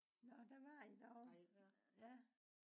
nå der var i derovre ja